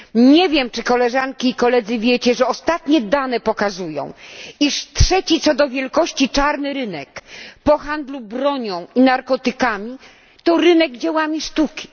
Nie wiem, czy koleżanki i koledzy wiedzą, iż ostatnie dane pokazują, że trzeci co do wielkości czarny rynek po handlu bronią i narkotykami to rynek dzieł sztuki.